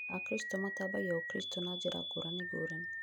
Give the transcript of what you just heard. Akristo matambagia ũkristo na njĩra ngũrani ngũrani